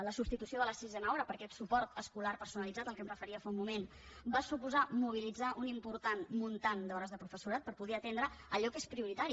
la substitució de la sisena hora per aquest suport escolar personalitzat a què em referia fa un moment va suposar mobilitzar una important suma d’hores de professorat per poder atendre allò que és prioritari